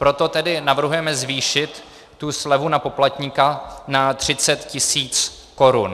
Proto tedy navrhujeme zvýšit tu slevu na poplatníka na 30 tis. korun.